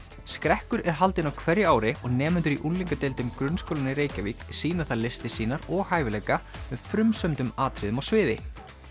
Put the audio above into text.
skrekkur er haldinn á hverju ári og nemendur í unglingadeildum grunnskólanna í Reykjavík sýna þar listir sýnar og hæfileika með frumsömdum atriðum á sviði